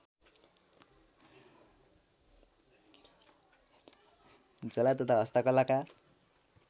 झोला तथा हस्तकलाका